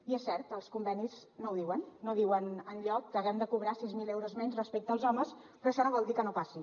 i és cert els convenis no ho diuen no diuen enlloc que haguem de cobrar sis mil euros menys respecte als homes però això no vol dir que no passi